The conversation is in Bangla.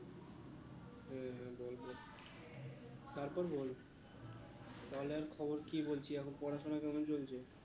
হ্যাঁ বল বল তারপর বল বল আর খবর কি বলছি এখন পড়াশোনা কেমন চলছে?